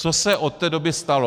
Co se od té doby stalo?